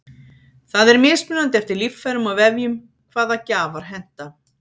það er mismunandi eftir líffærum og vefjum hvaða gjafar henta